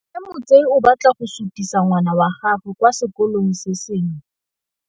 Mme Motsei o batla go sutisa ngwana wa gagwe kwa sekolong se sengwe.